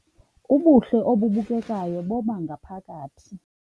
Ubuhle obubukekayo bobangaphakathi